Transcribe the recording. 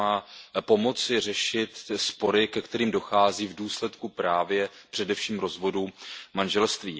Ona má pomoci řešit spory, ke kterým dochází v důsledku právě především rozvodu manželství.